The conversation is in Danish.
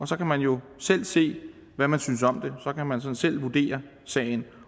så kan man jo selv se hvad man synes om det så kan man sådan selv vurdere sagen